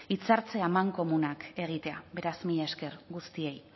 hitzartze amankomunak egitea beraz mila esker guztiei